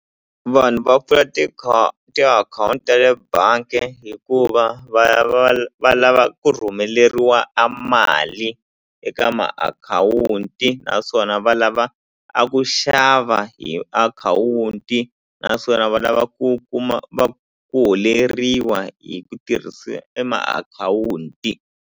Vanhu va pfula tiakhawunti ta le bangi hikuva va ya va va lava ku rhumeriwa a mali eka makhawunti na naswona va lava a ku xava hi akhawunti naswona va lava ku kuma va ku holeriwa hi ku tirhisiwa e makhawunti.